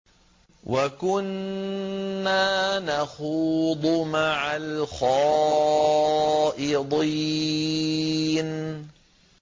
وَكُنَّا نَخُوضُ مَعَ الْخَائِضِينَ